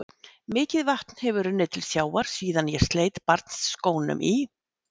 Mikið vatn hefur runnið til sjávar síðan ég sleit barnsskónum í